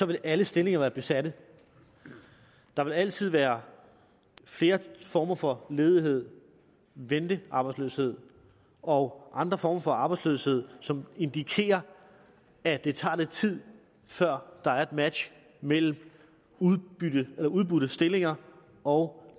vil alle stillinger være besat der vil altid være flere former for ledighed ventearbejdsløshed og andre former for arbejdsløshed som indikerer at det tager lidt tid før der er et match mellem udbudte stillinger og